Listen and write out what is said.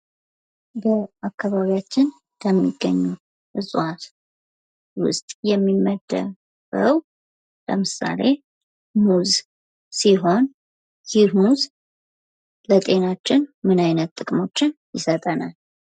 በአካባቢያችን ከሚገኙ እጽዋት ውስጥ የሚመደብ ነው ለምሳሌ ሙዝ ሲሆን ይህ ሙዝ የጤናችን ብዙ አይነት ጥቅሞችን ይሰጠናል።